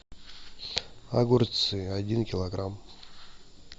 огурцы один килограмм